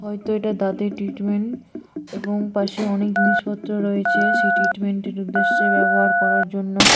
হয়তো এটা দাঁতের ট্রিটমেন্ট এবং পাশে অনেক জিনিসপত্র রয়েছে সে ট্রিটমেন্ট এর উদ্দেশ্যে ব্যবহার করার জন্য।